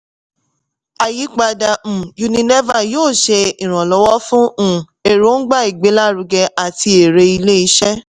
àyípadà um unilever yóò ṣe ìrànwọ́ fún um èròǹgbà ìgbélárugẹ àti èrè ilé-iṣẹ́.